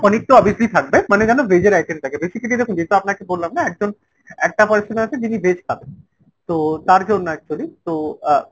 পনিরতো obviously থাকবে মানে যেন veg এর item basically দেখুন যেটা আপনাকে বললাম না একজন একটা person আছে যিনি veg খাবেন। তো তার জন্য actually। তো আহ